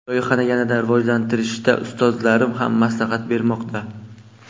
Loyihani yanada rivojlantirishda ustozlarim ham maslahat bermoqda.